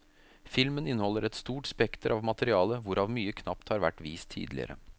Filmen inneholder et stort spekter av materiale, hvorav mye knapt har vært vist tidligere.